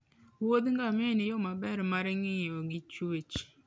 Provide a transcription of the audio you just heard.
wuodh ngamia en yo maber mar ng'iyo gi chuech